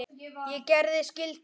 Ég gerði skyldu mína.